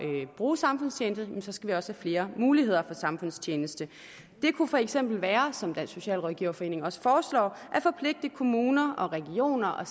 bruge samfundstjeneste skal vi også have flere muligheder for samfundstjeneste det kunne for eksempel være som dansk socialrådgiverforening også foreslår at forpligte kommuner og regioner og